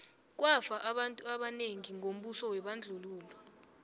kwafa abantu abanengi ngombuso webandlululo